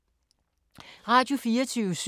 Radio24syv